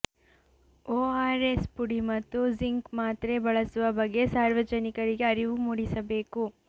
ORS ಪುಡಿ ಮತ್ತು zinc ಮಾತ್ರೆ ಬಳಸುವ ಬಗ್ಗೆ ಸಾರ್ವಜನಿಕರಿಗೆ ಅರಿವು ಮೂಡಿಸಬೇಕು